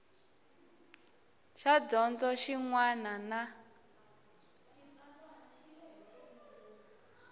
xa dyondzo xin wana na